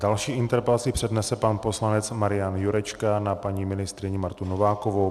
Další interpelaci přednese pan poslanec Marian Jurečka na paní ministryni Martu Novákovou.